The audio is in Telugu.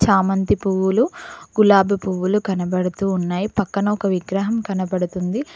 చామంతి పువ్వులు గులాబి పువ్వులు కనబడుతూ ఉన్నాయి పక్కన ఒక విగ్రహం కనబడుతుంది.